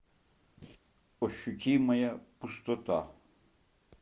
ощутимая пустота